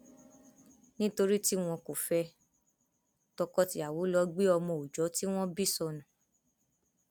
nítorí tí wọn kò fẹ ẹ tọkọtìyàwó lọ gbé ọmọ òòjọ tí wọn bí sọnù